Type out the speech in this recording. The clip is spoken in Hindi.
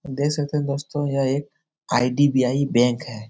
देख सकते हैं दोस्तों यह एक आई.डी.बी.आई. बैंक है ।